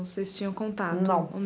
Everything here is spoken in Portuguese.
Vocês tinham contato? Não